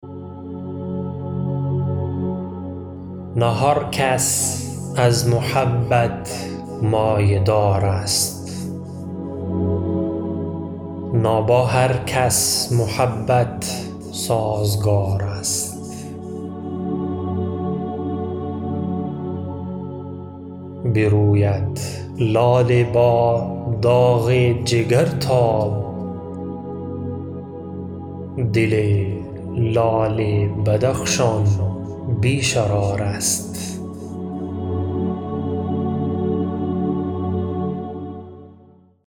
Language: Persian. نه هر کس از محبت مایه دار است نه با هر کس محبت سازگار است بروید لاله با داغ جگر تاب دل لعل بدخشان بی شرار است